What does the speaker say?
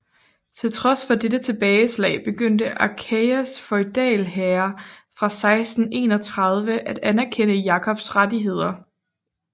Til trods for dette tilbageslag begyndte Achaias feudalherrer fra 1631 at anerkende Jakobs rettigheder